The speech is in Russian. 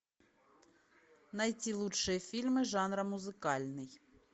найти лучшие фильмы жанра музыкальный